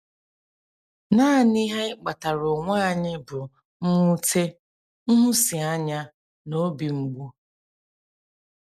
Naanị ihe anyị kpataara onwe anyị bụ mwute, nhụsianya, na obi mgbu.